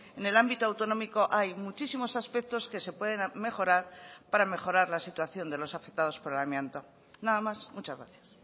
en el ámbito autonómico hay muchísimos aspectos que se pueden mejorar para mejorar la situación de los afectados por el amianto nada más muchas gracias